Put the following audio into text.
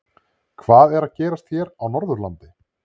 Hvað er að gerast hér á Norðurlandi?